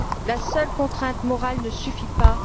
La seule contrainte morale ne suffit pas.